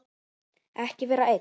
Ekki vera einn.